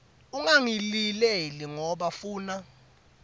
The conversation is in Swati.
ungangilileli ngoba funa